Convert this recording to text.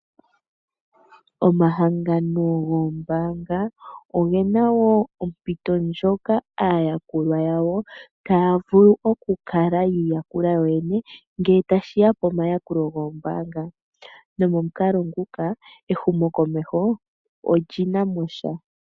Omahangano goombaanga oge na wo ompito ndjoka aayakulwa yawo taya vulu okukala yi iyakula yoyene ngele tashi ya pomayakulo goombaanga nopamukalo nguka ehumokomeho oli na mo sha.